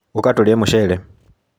ũka tũrĩe mũcere.